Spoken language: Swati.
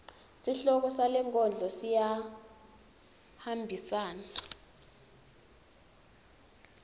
sihloko salenkondlo siyahambisana